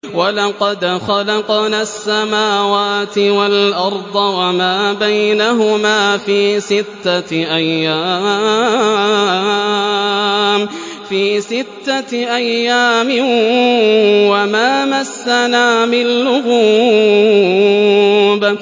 وَلَقَدْ خَلَقْنَا السَّمَاوَاتِ وَالْأَرْضَ وَمَا بَيْنَهُمَا فِي سِتَّةِ أَيَّامٍ وَمَا مَسَّنَا مِن لُّغُوبٍ